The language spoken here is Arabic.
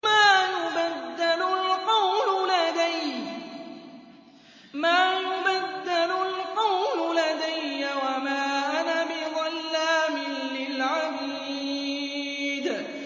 مَا يُبَدَّلُ الْقَوْلُ لَدَيَّ وَمَا أَنَا بِظَلَّامٍ لِّلْعَبِيدِ